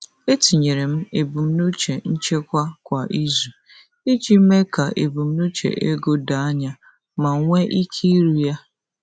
Etinyere m ebumnuche nchekwa kwa izu iji mee ka ebumnuche ego doo anya ma nwee ike iru ya.